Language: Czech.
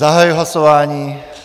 Zahajuji hlasování.